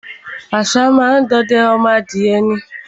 Àṣá má á ń de ọdẹ ọmọ adìẹ ni.